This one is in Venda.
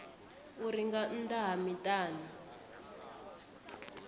uri nga nnḓa ha miṱani